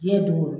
Diɲɛ don go don